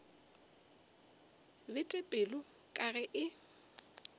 bete pelo ka ge e